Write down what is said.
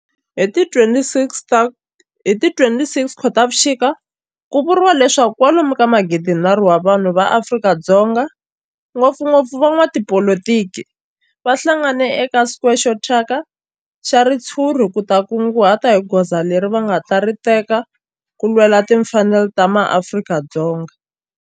Hi ti 26 Khotavuxika ku vuriwa leswaku kwalomu ka magidinharhu wa vanhu va Afrika-Dzonga, ngopfungopfu van'watipolitiki va hlanganile eka square xo thyaka xa ritshuri ku ta kunguhata hi goza leri va nga ta ri teka ku lwela timfanelo ta maAfrika-Dzonga.